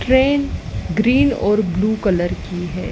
Train green और blue colour है।